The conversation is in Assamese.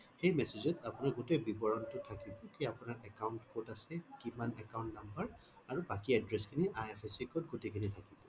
সেই message ত আপুনি গোটেই বিবৰণটো থাকিব কি আপোনাৰ account কত আছে কিমান account number আৰু বাকি address খিনি IFSC code গোটেই খিনি লাগিব